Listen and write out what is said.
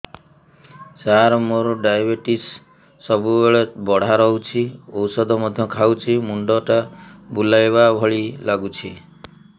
ସାର ମୋର ଡାଏବେଟିସ ସବୁବେଳ ବଢ଼ା ରହୁଛି ଔଷଧ ମଧ୍ୟ ଖାଉଛି ମୁଣ୍ଡ ଟା ବୁଲାଇବା ଭଳି ଲାଗୁଛି